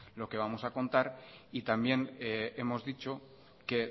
lo que vamos a contar también hemos dicho que